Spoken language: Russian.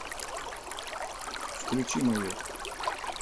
включи майот